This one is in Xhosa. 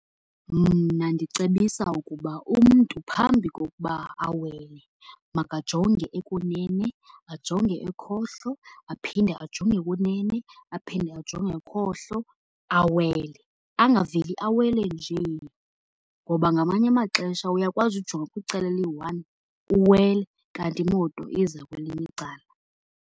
Mna ndicebisa ukuba umntu phambi kokuba awele makajonge ekunene, ajonge ekhohlo, aphinde ajonge ekunene, aphinde ajonge ekhohlo, awele. Angaveli awele njee, ngoba ngamanye amaxesha uyakwazi ujonga kwicala eliyi-one uwele kanti imoto iza kwelinye icala.